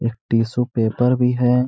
एक tissue paper भी है।